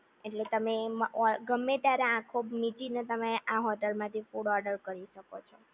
એટલે તમે એમ ગમે ત્યારે આંખો મીચીને તમે આ હોટલમાંથી ફૂડ ઓર્ડર કરી શકો છો